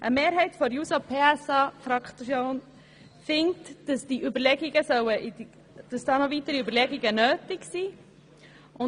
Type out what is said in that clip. Eine Mehrheit der JUSOPSA-SP-Fraktion findet, dass noch weitere Überlegungen nötig sind.